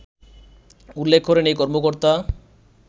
উল্লেখ করেন এই কর্মকর্তা